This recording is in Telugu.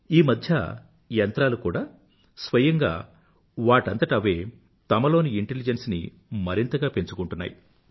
ఈమధ్య యంత్రాలు కూడా స్వయంగా వాటంతట అవే తమలోని Intelligenceని మరింతగా పెంచుకొంటున్నాయి